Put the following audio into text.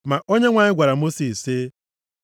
Ma Onyenwe anyị gwara Mosis sị,